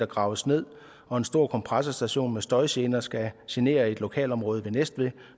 graves ned og en stor kompressorstation med støjgener skal genere et lokalområde ved næstved